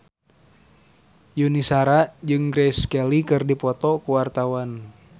Yuni Shara jeung Grace Kelly keur dipoto ku wartawan